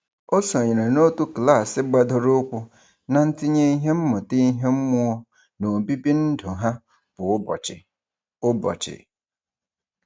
O sonyere n'otu klaasị gbadoroụkwụ na ntinye ihe mmụta ihe mmụọ n'obibi ndụ ha kwa ụbọchị. ụbọchị.